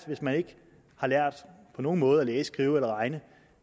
hvis man ikke på nogen måde kan læse skrive eller regne